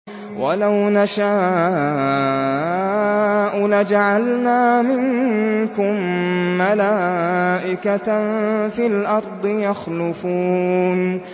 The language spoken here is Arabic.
وَلَوْ نَشَاءُ لَجَعَلْنَا مِنكُم مَّلَائِكَةً فِي الْأَرْضِ يَخْلُفُونَ